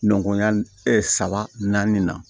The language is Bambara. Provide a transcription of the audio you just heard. Ɲɔnya saba naani na